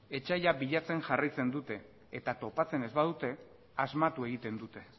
etsaia bilatzen jarraitzen dute eta topatzen ez badute asmatu egiten dute